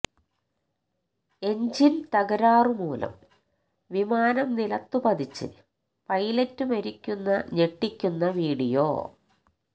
എഞ്ചിന് തകരാര് മൂലം വിമാനം നിലത്ത് പതിച്ച് പൈലറ്റ് മരിക്കുന്ന ഞെട്ടിക്കുന്ന വീഡിയോ